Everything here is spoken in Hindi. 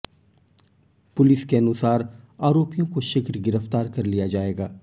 पुलिस के अनुसार आरोपियों को शीघ्र गिरफ्तार कर लिया जाएगा